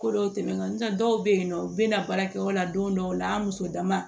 Ko dɔw tɛmɛnen ntɛ dɔw bɛ yen nɔ u bɛ na baarakɛyɔrɔ la don dɔw la an muso dama